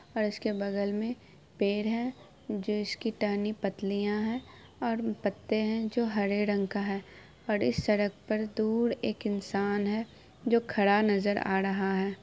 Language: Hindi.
और इसके बगल में पेड़ है जिसकी टहनी पतलियां है और पत्ते है जो हरे रंग का है और इस सड़क पर दूर एक इंसान है जो खड़ा नजर आ रहा है।